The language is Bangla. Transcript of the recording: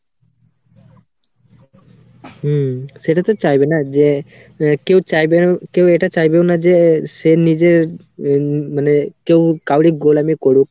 হুম সেটা তো চাইবে না যে আহ কেউ চাইবে~ কেউ এটা চাইবেও না যে সে নিজের উম মানে কেউ কাউরি গোলামি করুক।